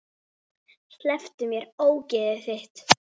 Slepptu mér, ógeðið þitt!